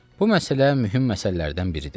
Bu məsələ mühüm məsələlərdən biridir.